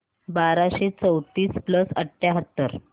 बाराशे चौतीस प्लस अठ्याहत्तर